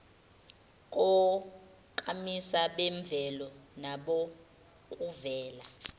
konkamisa bemvelo nabokuvela